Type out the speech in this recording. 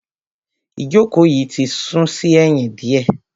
Ìjókòó yìí ti sún sí ẹ̀yìn diẹ.